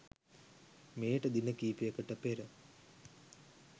මෙයට දින කීපයකට පෙර